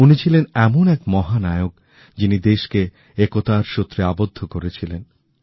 উনি ছিলেন এমন এক মহানায়ক যিনি দেশকে একতারসূত্রে আবদ্ধ করেছিলেন